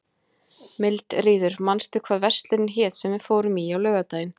Mildríður, manstu hvað verslunin hét sem við fórum í á laugardaginn?